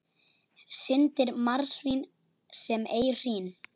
Syndir marsvín sem ei hrín.